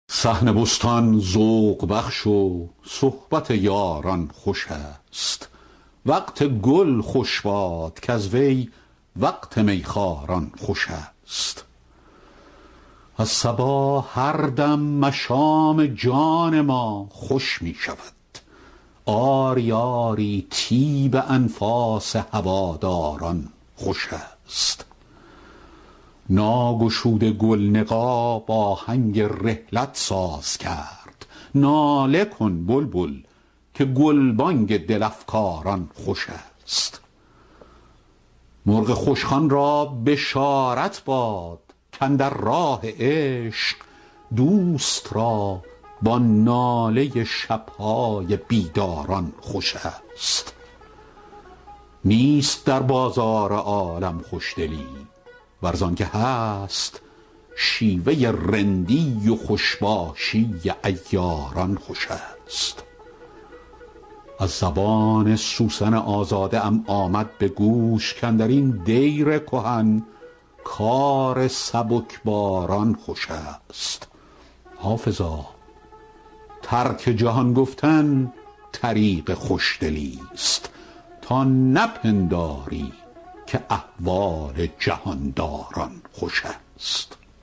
صحن بستان ذوق بخش و صحبت یاران خوش است وقت گل خوش باد کز وی وقت می خواران خوش است از صبا هر دم مشام جان ما خوش می شود آری آری طیب انفاس هواداران خوش است ناگشوده گل نقاب آهنگ رحلت ساز کرد ناله کن بلبل که گلبانگ دل افکاران خوش است مرغ خوشخوان را بشارت باد کاندر راه عشق دوست را با ناله شب های بیداران خوش است نیست در بازار عالم خوشدلی ور زان که هست شیوه رندی و خوش باشی عیاران خوش است از زبان سوسن آزاده ام آمد به گوش کاندر این دیر کهن کار سبکباران خوش است حافظا ترک جهان گفتن طریق خوشدلیست تا نپنداری که احوال جهان داران خوش است